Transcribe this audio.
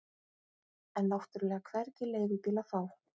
En náttúrlega hvergi leigubíl að fá.